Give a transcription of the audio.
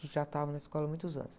Já estavam na escola há muitos anos.